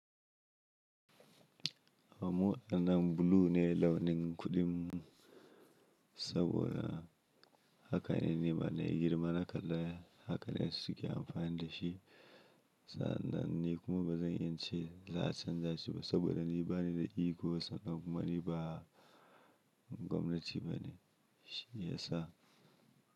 A muɗanan blue ne launin kuɗin, saboda haka ne nima na yi girma naka da haka ne suke amfani da shi. Sa'an nan ni kuma ba zan yi ince za a canza shi ba saboda ni ba ni da ego, sannan kuma ni ba gwamnati ba ne shi ya sa.